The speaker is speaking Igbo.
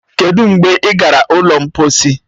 Kedụ mgbe ị gara ụlọ mposi